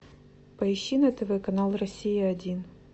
поищи на тв канал россия один